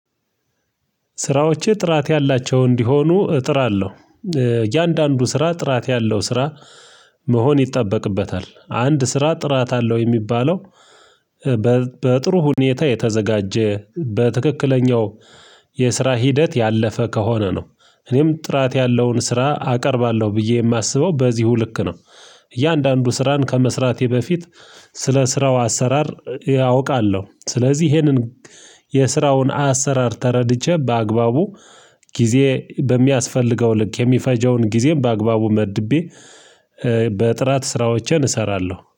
ስራዎቼ ጥራት ያላቸው እንዲሆኑ እጥራለሁ እያንዳንዱ ስራ ጥራት ያለው ስራ መሆን ይጠበቅበታል አንድ ስራ ጥራት አለው የሚባለው በጥሩ ሁኔታ የተዘጋጀ በትክክለኛው የስራ ሂደት ያለፈ ከሆነ ነው። እኔም ጥራት ያለውን ስራ አቀርባለሁ ብዬ የማስበው በዚሁ ልክ ነው፤። እያንዳንዱ ስራን ከመስራቴ በፊት ስለ ስራው አሰራር ያ አውቃለሁ ስለዚህ ይሄንን የስራውን አሰራር ተረድቼ በአግባቡ ጊዜ በሚያስፈልገው ልክ የሚፈጀውን ጊዜም በአግባቡ መድቤ። በጥራት ስራዎቼን እሰራለሁ